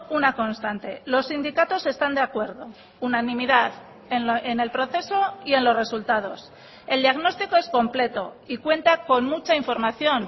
una constante los sindicatos están de acuerdo unanimidad en el proceso y en los resultados el diagnóstico es completo y cuenta con mucha información